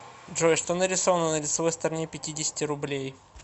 джой что нарисовано на лицевой стороне пятидесяти рублей